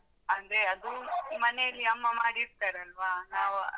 ಅಂದ್ರೆ ಅದು ಮನೆಯಲ್ಲಿ ಅಮ್ಮ ಮಾಡಿರ್ತರಲ್ವ ನಾವ್.